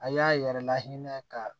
A y'a yɛrɛ lahinɛ ka